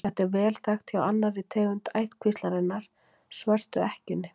Þetta er vel þekkt hjá annarri tegund ættkvíslarinnar, svörtu ekkjunni.